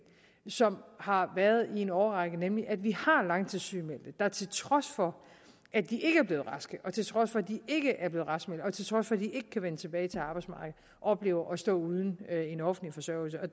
som har været en i årrække nemlig at vi har langtidssygemeldte der til trods for at de ikke er blevet raske og til trods for at de ikke er blevet raskmeldte og til trods for at de ikke kan vende tilbage til arbejdsmarkedet oplever at stå uden en offentlig forsørgelse